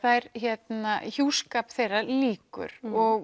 hjúskap þeirra líkur